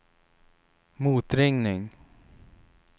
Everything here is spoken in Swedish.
motringning